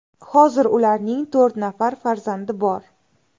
Hozir ularning to‘rt nafar farzandi bor.